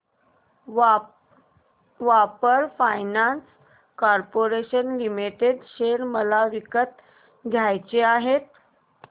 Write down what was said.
power finance corporation limited share मला विकत घ्यायचे आहेत